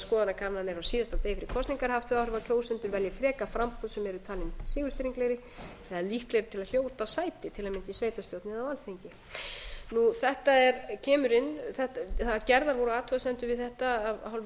skoðanakannanir á síðasta degi fyrir kosningar haft þau áhrif að kjósendur velji frekar framboð sem eru talin sigurstranglegri eða líklegri til að hljóta sæti til að mynda í sveitarstjórn eða á alþingi gerðar voru athugasemdir við þetta af hálfu öse við